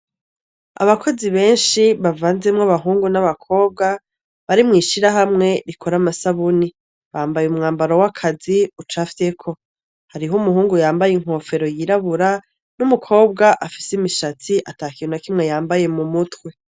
Abakozi benshi bavanzemwo abahungu n'abakobwa bari mw'ishirahamwe rikora amasabuni. Bambaye umwambaro w'akazi ucafyeko. Hariho umuhungu yambaye inofero yirabura n'umukobwa afise imishatsi ata kintu na kimwe yambaye mu mutwe.